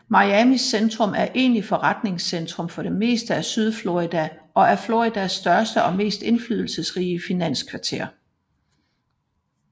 Miamis centrum er egentlig forretningscentrum for det meste af sydflorida og er Floridas største og mest indflydelsesrige finanskvarter